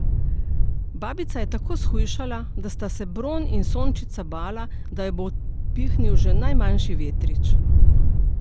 Babica je tako shujšala, da sta se Bron in Sončnica bala, da jo bo odpihnil že najmanjši vetrič.